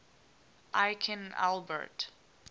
aikin albert